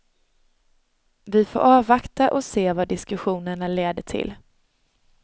Vi får avvakta och se vad diskussionerna leder till.